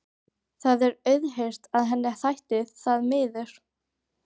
Það er auðheyrt að henni þætti það miður.